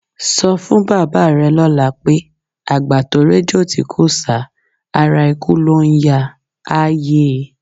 Sọ fún bàbá rẹ lọ́la pé, "àgbà tó réjò tí kò sá, ara ikú ló ń yáa", á yé e.